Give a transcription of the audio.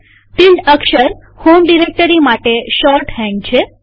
tilde અક્ષર home directory માટે shorthand છે